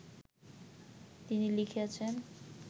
তিনি লিখিয়াছেন